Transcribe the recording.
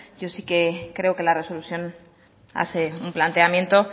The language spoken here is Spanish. yo sí que creo que la resolución hace un planteamiento